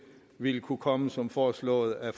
ville kunne komme som foreslået af